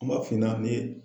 N b'a f'i ɲɛna ni